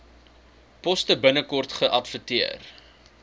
poste binnekort geadverteer